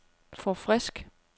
forfrisk